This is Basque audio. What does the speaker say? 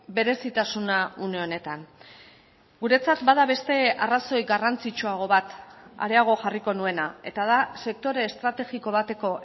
berezitasuna une honetan guretzat bada beste arrazoi garrantzitsuago bat areago jarriko nuena eta da sektore estrategiko bateko